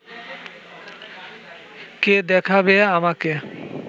কে দেখাবে আমাকে